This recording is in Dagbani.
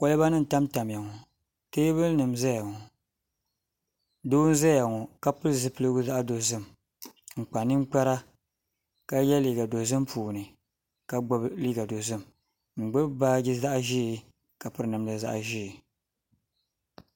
Kolba nim n tamtamya ŋo teebuli n ʒɛya ŋo doo n ʒɛya ŋo ka pili zipiligu zaɣ dozim n kpa ninkpara ka yɛ liiga dozim puuni ka gbubi liiga dozim n gbubi baaji zaɣ ʒiɛ ka piri namda zaɣ ʒiɛ